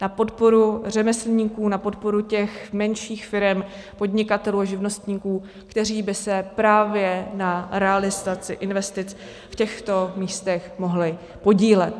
Na podporu řemeslníků, na podporu těch menších firem, podnikatelů a živnostníků, kteří by se právě na realizaci investic v těchto místech mohli podílet.